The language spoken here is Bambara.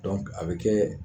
a bɛ kɛ